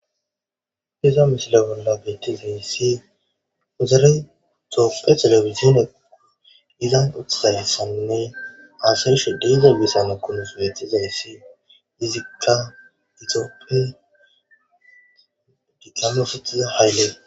Iza misile bolla beetiza issi uzare xooppe telefizine izan utsayyssanne aasarisho dize bisana konus wyetizayssi dizikka itooppin digama sitiza hayllee